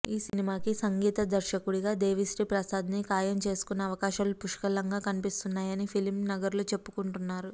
ఈ సినిమాకి సంగీత దర్శకుడిగా దేవిశ్రీ ప్రసాద్ ని ఖాయం చేసుకునే అవకాశాలు పుష్కలంగా కనిపిస్తున్నాయని ఫిల్మ్ నగర్లో చెప్పుకుంటున్నారు